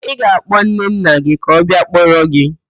Ị ga-akpọ nnenna gị ka ọ bịa kpọrọ gị?